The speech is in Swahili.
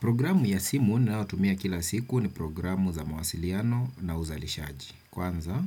Programu ya simu ninayo tumia kila siku ni programu za mawasiliano na uzalishaji. Kwanza,